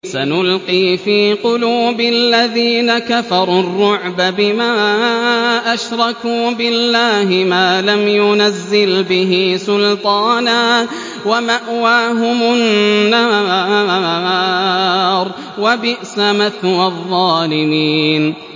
سَنُلْقِي فِي قُلُوبِ الَّذِينَ كَفَرُوا الرُّعْبَ بِمَا أَشْرَكُوا بِاللَّهِ مَا لَمْ يُنَزِّلْ بِهِ سُلْطَانًا ۖ وَمَأْوَاهُمُ النَّارُ ۚ وَبِئْسَ مَثْوَى الظَّالِمِينَ